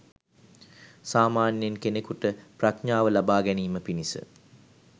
සාමාන්‍යයෙන් කෙනෙකුට ප්‍රඥාව ලබාගැනීම පිණිස